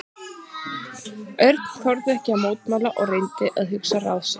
Örn þorði ekki að mótmæla og reyndi að hugsa ráð sitt.